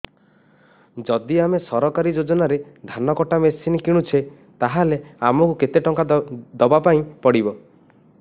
ଯଦି ଆମେ ସରକାରୀ ଯୋଜନାରେ ଧାନ କଟା ମେସିନ୍ କିଣୁଛେ ତାହାଲେ ଆମକୁ କେତେ ଟଙ୍କା ଦବାପାଇଁ ପଡିବ